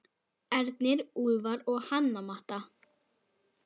Ernir, Úlfar og Hanna Matta.